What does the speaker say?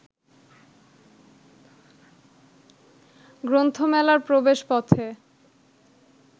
গ্রন্থমেলার প্রবেশপথে